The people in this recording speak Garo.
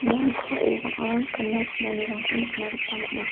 ia noksao bang·a gana chinanirangko nikna gita man·a.